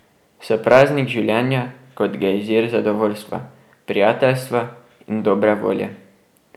So praznik življenja, kot gejzir zadovoljstva, prijateljstva in dobre volje.